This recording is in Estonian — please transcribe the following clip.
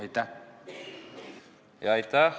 Aitäh!